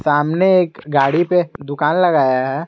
सामने एक गाड़ी पे दुकान लगाया है।